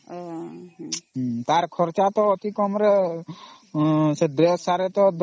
ତାର ଖର୍ଚ୍ଚ ତା ଅତି କମ ରେ ସେ Dress ସବୁ ତା ଅତି କମ ରେ 10000